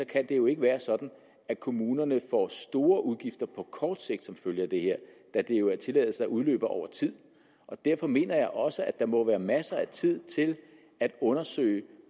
kan det jo ikke være sådan at kommunerne får store udgifter på kort sigt som følge af det her da det jo er tilladelser der udløber over tid og derfor mener jeg også at der må være masser af tid til at undersøge